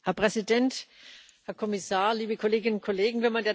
Herr Präsident, Herr Kommissar, liebe Kolleginnen und Kollegen!